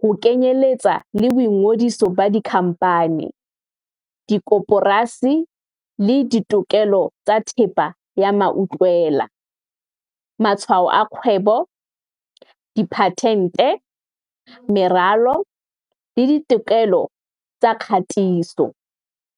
ho kenyeletsa le boingodiso ba dikhamphani, dikoporasi le ditokelo tsa thepa ya mautlwela, matshwao a kgwebo, diphatente, meralo le ditokelo tsa kgatiso.